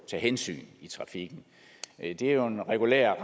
tage hensyn i trafikken det er jo en regulær